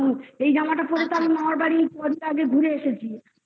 এই জামাটা পড়ে তো আমি মামার বাড়ি কদিন আগে ঘুরে এসেছি।